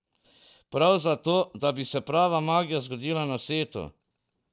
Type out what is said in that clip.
Prav zato, da bi se prava magija zgodila na setu.